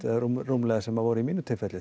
rúmlega sem voru í mínu tilfelli